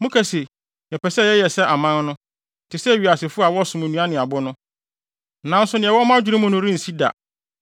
“ ‘Moka se, “Yɛpɛ sɛ yɛyɛ sɛ aman no, te sɛ wiasefo a wɔsom nnua ne abo no.” Nanso nea ɛwɔ mo adwene mu no rensi da.